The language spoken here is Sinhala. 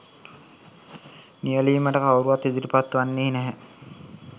නියැලීමට කවුරුත් ඉදිරිපත් වන්නේ නැහැ.